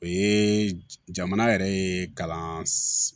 O ye jamana yɛrɛ ye kalan